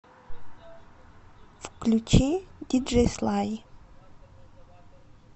включи диджей слай